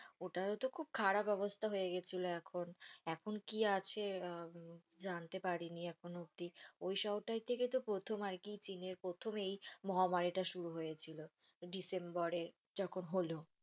ওটারও তো খুব খারাপ অবস্থা হয়েগেছিলো এখন এখন কি আছে জানতে পারিনি এখনো অব্দি ওই শহরটা থেকে প্রথম আরকি চীনের প্রথম এই মহামারীটা শুরু হয়েছিল ডিসেম্বর এ যখন হলো